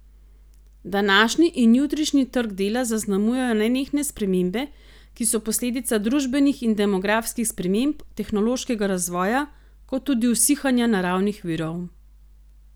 Današnji in jutrišnji trg dela zaznamujejo nenehne spremembe, ki so posledica družbenih in demografskih sprememb, tehnološkega razvoja, kot tudi usihanja naravnih virov.